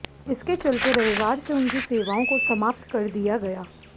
इसके चलते रविवार से उनकी सेवाओं को समाप्त कर दिया गया